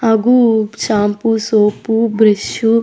ಹಾಗೂ shampoo soap brush .